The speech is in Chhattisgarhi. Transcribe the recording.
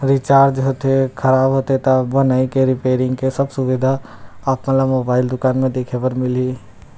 रिचार्ज होथे खराब होती त बनइ रिपेयरिंग के सब सुविधा आप मन ला मोबाइल दुकान में देखे बर मिलहि।